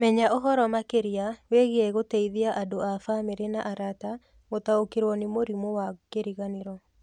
Menya ũhoro makĩria wĩgiĩ gũteithia andũ a bamirĩ na arata gũtaũkĩrwo nĩ mũrimũ wa kĩriganĩro.